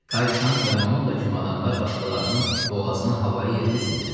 Kay Şanq və Mamulla kimi adamlar başqalarının boğazını havaya yerə üzmürlər.